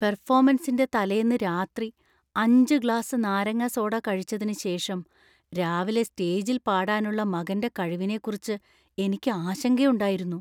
പെർഫോമൻസിന്‍റെ തലേന്ന് രാത്രി അഞ്ച്‌ ഗ്ലാസ് നാരങ്ങ സോഡ കഴിച്ചതിന് ശേഷം രാവിലെ സ്റ്റേജിൽ പാടാനുള്ള മകന്‍റെ കഴിവിനെക്കുറിച്ച് എനിക്ക് ആശങ്കയുണ്ടായിരുന്നു .